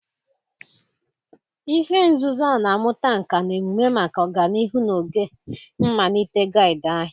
Ihe nzuzo a na-amụta nka na emume maka ọganihu n'oge mmalite guild ahia